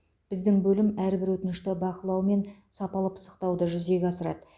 біздің бөлім әрбір өтінішті бақылау мен сапалы пысықтауды жүзеге асырады